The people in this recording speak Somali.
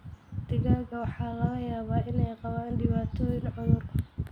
Digaagga waxaa laga yaabaa inay qabaan dhibaatooyin cudur.